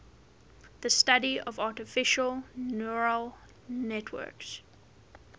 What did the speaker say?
the study of artificial neural networks